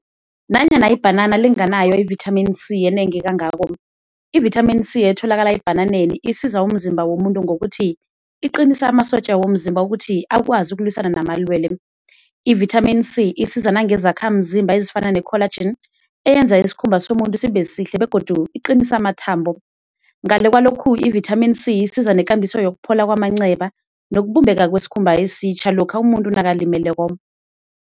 Nanyana ibhanana linganayo i-Vitamin C enengi kangako i-Vitamin C etholakala ebhananeni isiza umzimba womuntu ngokuthi iqinise amasotja womzimba ukuthi akwazi ukulwisana namalwelwe. I-Vitamin C isiza nangezakhamzimba ezifana ne-colagene eyenza isikhumba somuntu sibe sihle begodu iqinise amathambo. Ngale kwalokhu i-Vitamin C isiza nekambiso yokuphola kwamanceba nokubumbeka kwesikhumba esitjha lokha umuntu nakalimeleko.